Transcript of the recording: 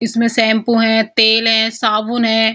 इसमें शैम्पू हैं तेल हैं साबुन है।